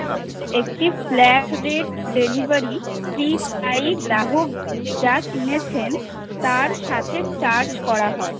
একটি flat rate delivery গ্রাহক যা কিনেছেন তার সাথে Charge করা হয়।